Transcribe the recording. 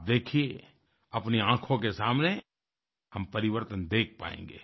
आप देखिये अपनी आंखों के सामने हम परिवर्तन देख पायेंगें